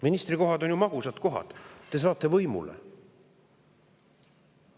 Ministrikohad on ju magusad kohad, te saate võimule.